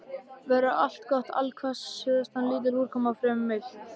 Veður allgott allhvass suðaustan lítil úrkoma og fremur milt.